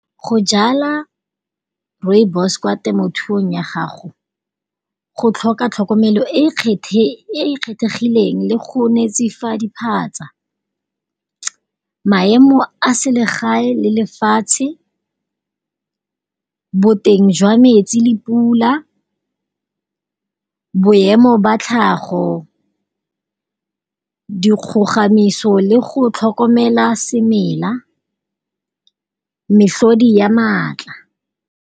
Go jala Rooibos kwa temothuong ya ga go go tlhoka tlhokomelo e e kgethegileng le go netefatsa diphatsa. Maemo a selegae le lefatshe. Boteng jwa metsi, le pula, boemo ba tlhago, di kgogamiso le go tlhokomela semela, mefodi ya maatla.